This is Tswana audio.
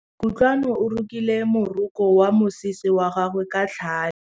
Kutlwanô o rokile morokô wa mosese wa gagwe ka tlhale.